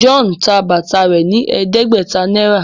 John tá bàtà rẹ ní ẹdẹgbẹta náírà.